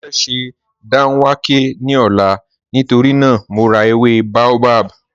Mọ fẹ́ sẹ́ dánwàkẹ̀ ní ọ̀là nítorí naa mọ̀ rá èwé baobab